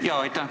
Aitäh!